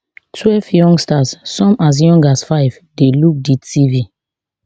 twelve youngsters some as young as five dey look di tv